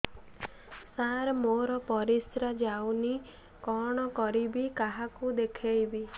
ସାର ମୋର ପରିସ୍ରା ଯାଉନି କଣ କରିବି କାହାକୁ ଦେଖେଇବି